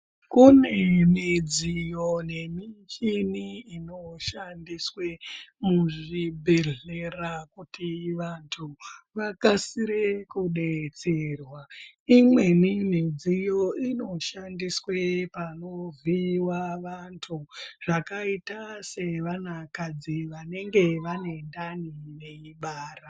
Kune midziyo nemichini inoshandiswe muzvibhedhlera kuti vantu vakasire kudetserwa imweni midziyo inoshandiswe panovhiiwa vantu zvakaita sevanakadzi vanenge vanendani veibara.